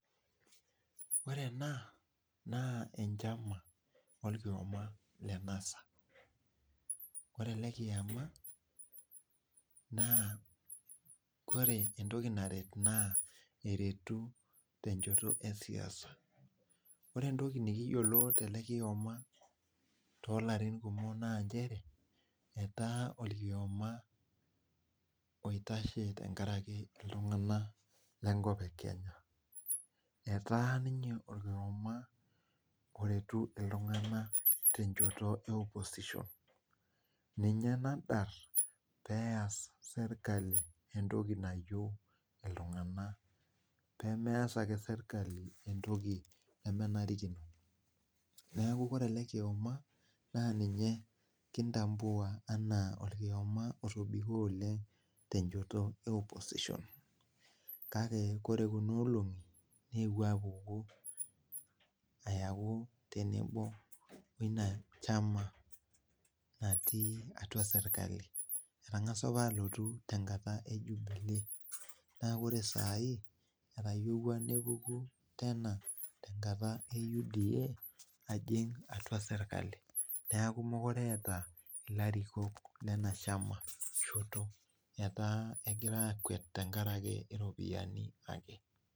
Ore ena naa enchama olkioma led NASA ore ele kiama naa kore entoki naret naa eretu tenchoto esiasa ore entoki nikiyiolo tele kioma tolarin kumok naanchere etaa olkioma oitashe tenkaraki iltung'ana lenkop e kenya etaa ninye olkioma oretu iltung'ana tenchoto e opposition ninye nadarr peeyas sirkali entoki nayieu iltung'anak pemees ake sirkali entoki nemenarikino neeku kore ele kioma naa ninye kintambua anaa orkioma otobiko oleng tenchoto e opposition kake kore kuna olong'i neewuo apuku ayaku tenebo woina chama natii atua sirkali etang'asa apa alotu tenkata e jubilee naa kore saai etayiewua nepuku tena tenkata e UDA ajing atua sirkali niaku mukure eeta ilarikok lena shama shoto etaa egira akwet tenkarake iropiyiani ake.